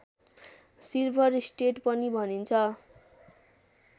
silver state पनि भनिन्छ